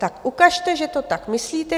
Tak ukažte, že to tak myslíte.